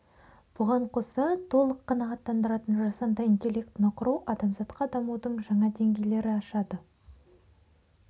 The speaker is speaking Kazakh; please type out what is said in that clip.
бұған қоса толық қанағаттандыратын жасанды интеллектіні құру адамзатқа дамудың жаңа деңгейлері ашады